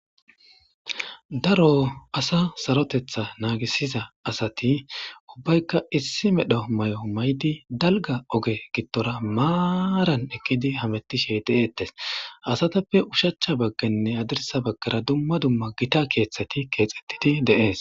Daro asa sarotetha naagisiza asati ubbaykka issi medho mayo maydi dalga oge gittora maaran ekkidi hamettishe de'eettes asatappe ushachcha bagganne adirsa baggara dumma dumma gita keeththeti keexxettidi deees